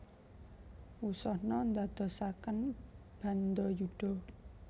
Wusana ndadosaken bandayuda